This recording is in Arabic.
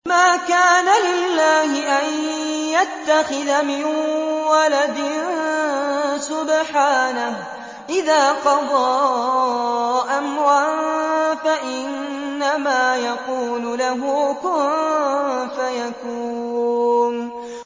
مَا كَانَ لِلَّهِ أَن يَتَّخِذَ مِن وَلَدٍ ۖ سُبْحَانَهُ ۚ إِذَا قَضَىٰ أَمْرًا فَإِنَّمَا يَقُولُ لَهُ كُن فَيَكُونُ